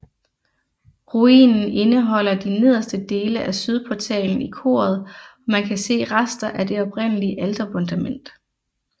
Ruinen indeholder de nederste dele af sydportalen i koret og man kan se rester af det oprindelige alterfundamentet